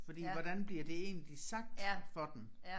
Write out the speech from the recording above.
Fordi hvordan bliver det egentlig sagt for dem